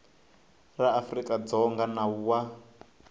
ra afrika dzonga nawu wa